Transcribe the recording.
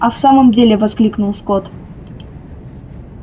а в самом деле воскликнул скотт